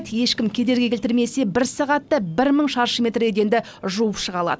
ешкім кедергі келтірмесе бір сағатта бір мың шаршы метр еденді жуып шыға алады